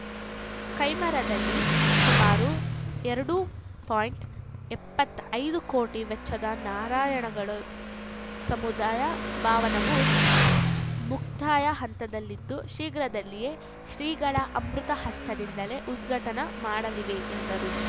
ಕೈಮರದಲ್ಲಿ ಸುಮಾರು ಎರಡು ಪಾಯಿಂಟ್ ಎಪ್ಪತ್ತೈದು ಕೋಟಿ ವೆಚ್ಚದ ನಾರಾಯಣಗಳು ಸಮುದಾಯ ಭಾವನವು ಮುಕ್ತಾಯ ಹಂತದಲ್ಲಿದ್ದು ಶೀಘ್ರದಲ್ಲಿಯೇ ಶ್ರೀಗಳ ಅಮೃತಹಸ್ತದಿಂದಲೇ ಉದ್ಘಾಟನೆ ಮಾಡಲಿವೆ ಎಂದರು